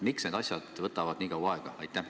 Miks need asjad võtavad nii kaua aega?